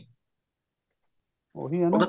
ਉਹੀ ਐ ਨਾ